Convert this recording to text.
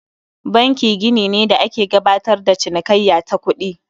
Banki gini ne da ake gabatar da cinikayya ta kuɗi